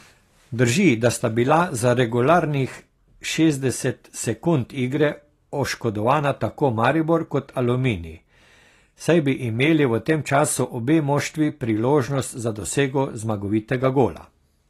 Drži, da sta bila za regularnih šestdeset sekund igre oškodovana tako Maribor kot Aluminij, saj bi imeli v tem času obe moštvi priložnost za dosego zmagovitega gola.